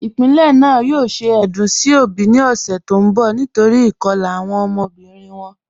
Ipilẹ́ naà yòò ṣẹ̀ èdún sí obì ni ọ̀ṣẹ̀ tó nbọ̀ nítorí awọn ikọ̀la awọn ọmọbirin wọn.